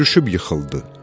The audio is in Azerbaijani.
Sürüşüb yıxıldı.